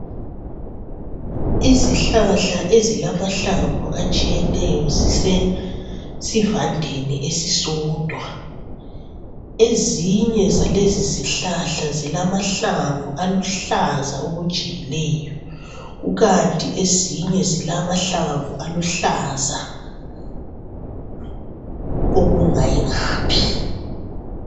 Izihlahla ezilamahlamvu atshiyeneyo zisesivandeni esisodwa. Ezinye zalezizihlahla zilamahlamvu aluhlaza okujiyileyo. Kukanti ezinye zilamahlamvu aluhlaza okungayingaphi.